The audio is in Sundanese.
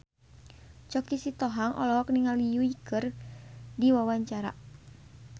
Choky Sitohang olohok ningali Yui keur diwawancara